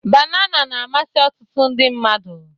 Banana na-amasị ọtụtụ ndị mmadụ.